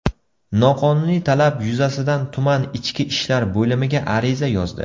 Noqonuniy talab yuzasidan tuman ichki ishlar bo‘limiga ariza yozdi.